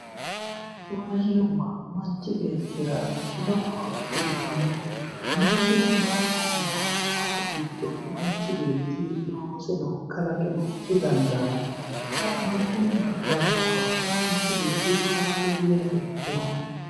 maashinubba manchi beettira lowo horo uytanno, maashinubba hooguro haaroricho looseno kalaqeno didandaanno maashinubba daggu kawanno manchi beetti horaameeyyeno ikkino